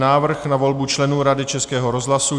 Návrh na volbu členů Rady Českého rozhlasu